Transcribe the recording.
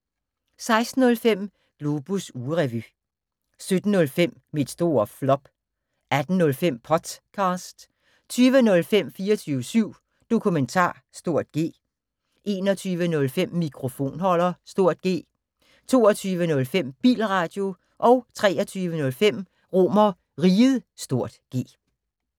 16:05: Globus ugerevy 17:05: Mit store flop 18:05: Potcast 20:05: 24syv Dokumentar (G) 21:05: Mikrofonholder (G) 22:05: Bilradio 23:05: RomerRiget (G)